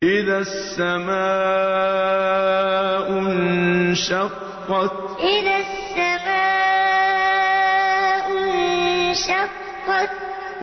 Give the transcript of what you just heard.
إِذَا السَّمَاءُ انشَقَّتْ إِذَا السَّمَاءُ انشَقَّتْ